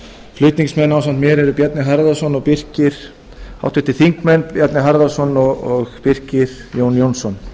flutningsmenn ásamt mér eru háttvirtir þingmenn bjarni harðarson og birkir jón jónsson